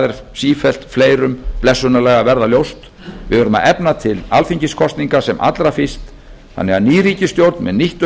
er sífellt fleirum blessunarlega að verða ljóst við verðum að efna til alþingiskosninga sem allra fyrst þannig að ný ríkisstjórn með nýtt